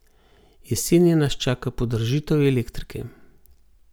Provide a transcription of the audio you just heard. Jeseni nas čaka podražitev elektrike.